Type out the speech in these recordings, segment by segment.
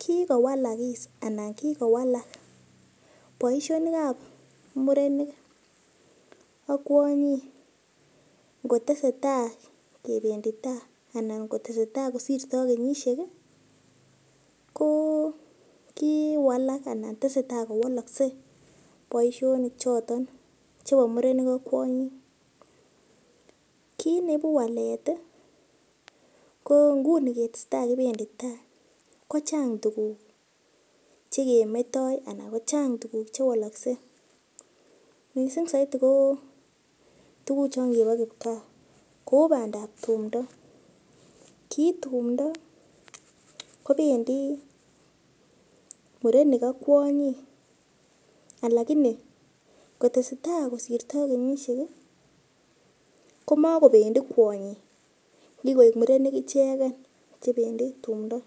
Kikowolokis anan kikowalak boishonik ap murenik ak kwonyik kotesetai kependi tai anan kotesetai kosirtoi kenyishek ko kowalak anan tesetai kowolokse boishonik choton chebo murenik ak kwonyik kit neibu walet ko nguni kotesetai kibendi tai ko chang tuguk chekemetoi anan ko chang tuguk chewalakse mising saidi ko chon kibo kipkaa kou bandap tumdo ki tumdo kobendi murenik ak kwonyik alakini kotesetai kosirtoi kenyishek komakobendi kwonyik kikoek murenik icheken chebendi tumdo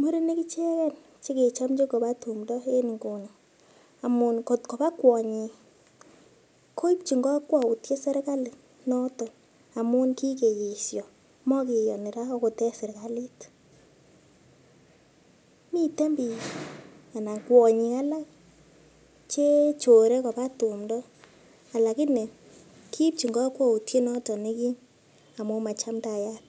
murenik icheken chekechomchi koba tumdo Yu amun kotopa kwonyik koipchin kakwautiet serikali noton amun kikeeshon makeyoni ra akot en serikalit miten biik anan kwonyik alak che chore koba tumdo alakini kiipchin kakwautiet noton nekim amu machamtayat